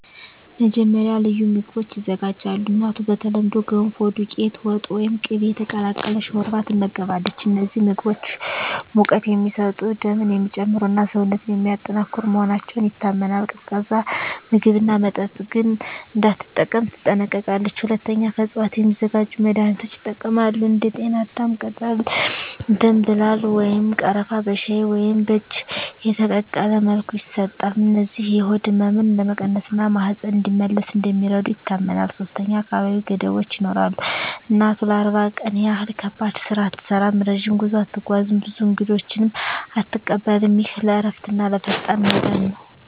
መጀመሪያ፣ ልዩ ምግቦች ይዘጋጃሉ። እናቱ በተለምዶ “ገንፎ”፣ “ዱቄት ወጥ” ወይም “ቅቤ የተቀላቀለ ሾርባ” ትመገባለች። እነዚህ ምግቦች ሙቀት የሚሰጡ፣ ደምን የሚጨምሩ እና ሰውነትን የሚያጠናክሩ መሆናቸው ይታመናል። ቀዝቃዛ ምግብና መጠጥ ግን እንዳትጠቀም ትጠነቀቃለች። ሁለተኛ፣ ከእፅዋት የሚዘጋጁ መድኃኒቶች ይጠቀማሉ። እንደ ጤናዳም ቅጠል፣ ደምብላል ወይም ቀረፋ በሻይ ወይም በእጅ የተቀቀለ መልኩ ይሰጣሉ። እነዚህ የሆድ ህመምን ለመቀነስ እና ማህፀን እንዲመለስ እንደሚረዱ ይታመናል። ሶስተኛ፣ አካላዊ ገደቦች ይኖራሉ። እናቱ ለ40 ቀን ያህል ከባድ ስራ አትሠራም፣ ረጅም ጉዞ አትጓዝም፣ ብዙ እንግዶችንም አትቀበልም። ይህ ለእረፍትና ለፈጣን መዳን ነው